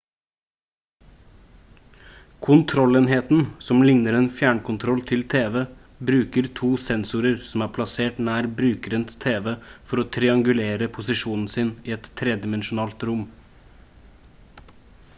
kontrollenheten som ligner en fjernkontroll til tv bruker to sensorer som er plassert nær brukerens tv for å triangulere posisjonen sin i et tredimensjonalt rom